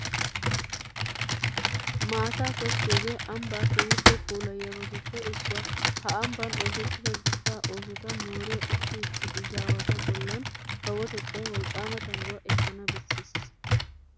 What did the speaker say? Maataa tokkiyogee ambbaa keehippe puulayiyabatuppe issuwa. Ha ambban oosettida dichchaa oosota mooriya issi issi izaawatu bollan kawotettan wolqqaama tangguwa ekkana bessees.